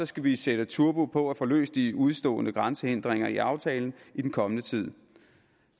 skal vi sætte turbo på og få løst de udestående grænsehindringer i aftalen i den kommende tid